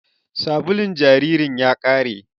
Sabulun jaririn ya ƙare